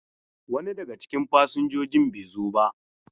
Wani daga cikin fasinjojin bai zo ba.